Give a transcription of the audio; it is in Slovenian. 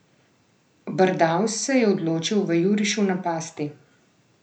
Brdavs se je odločil v jurišu napasti.